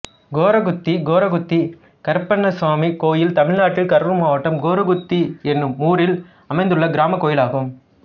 கோரகுத்தி கோரகுத்தி கருப்பண்ணசாமி கோயில் தமிழ்நாட்டில் கரூர் மாவட்டம் கோரகுத்தி என்னும் ஊரில் அமைந்துள்ள கிராமக் கோயிலாகும்